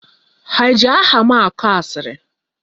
Ha eji aha m akọ asịrị?